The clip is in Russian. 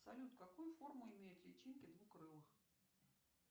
салют какую форму имеют личинки двукрылых